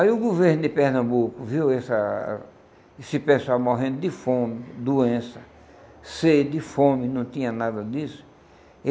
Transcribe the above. Aí o governo de Pernambuco viu essa esse pessoal morrendo de fome, doença, sede, fome, não tinha nada disso.